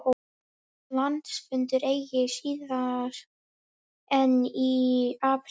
Landsfundur eigi síðar en í apríl